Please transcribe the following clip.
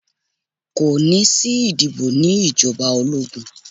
Kò ní sí ìdìbò ní ìjọba ológun.